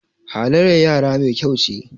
halyyar yara Mai kyau ce